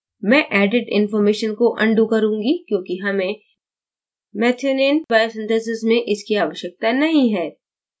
मैं edit information को undo करुँगी क्योंकि हमें methionine biosynthesis में इसकी आवश्यकता नहीं है